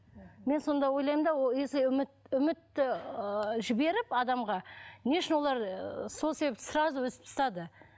мен сонда ойлаймын да если үміт үмітті ы жіберіп адамға не үшін олар ыыы сол себепті сразу үзіп тастады